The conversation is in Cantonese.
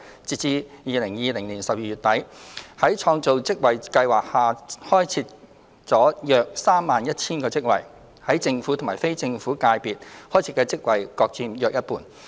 截至2020年12月底，在創造職位計劃下已開設了約 31,000 個職位，於政府及非政府界別開設的職位各佔約一半。